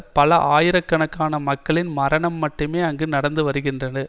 பல ஆயிரக்கணக்கான மக்களின் மரணம் மட்டுமே அங்கு நடந்து வருகிறது